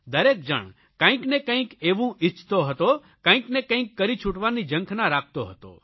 દરેક જણ કંઇકને કંઇક એવું ઇચ્છતો હતો કંઇકને કંઇક કરી છૂટવાની ઝંખના રાખતો હતો